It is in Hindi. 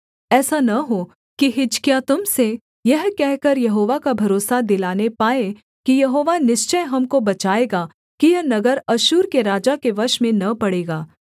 ऐसा न हो कि हिजकिय्याह तुम से यह कहकर यहोवा का भरोसा दिलाने पाए कि यहोवा निश्चय हमको बचाएगा कि यह नगर अश्शूर के राजा के वश में न पड़ेगा